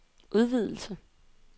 udvidelse